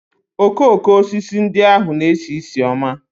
Okooko osisi ndị ahụ na-esi ísì ọma